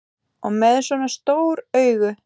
Og með svona stór augu.